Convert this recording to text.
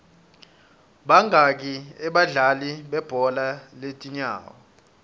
bangaki abadlali bebhola lezinyawo